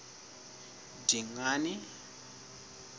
dingane